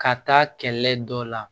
Ka taa kɛlɛ dɔ la